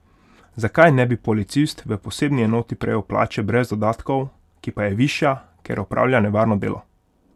Zakaj ne bi policist v posebni enoti prejel plače brez dodatkov, ki pa je višja, ker opravlja nevarno delo?